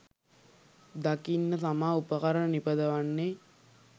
දකින්න තමා උපකරණ නිපදවන්නෙ